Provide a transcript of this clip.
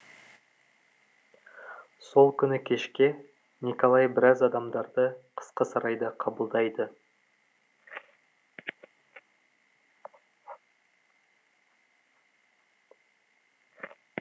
сол күні кешке николай біраз адамдарды қысқы сарайда қабылдайды